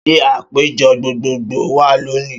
Ṣé àpéjọ gbogbo gbòò wà lónìí?